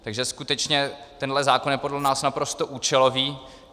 Takže skutečně tenhle zákon je podle nás naprosto účelový.